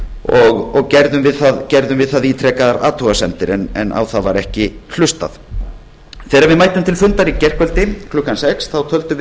og gerðum við það ítrekaðar athugasemdir á þær var ekki hlustað þegar við mættum til fundar í gærkvöldi klukkan sex töldum